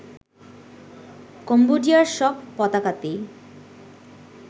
কম্বোডিয়ার সব পতাকাতেই